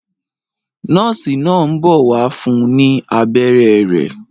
Nọ́ọ́sì náà ń bọ̀ wá fún ní abẹ́rẹ́ rẹ̀.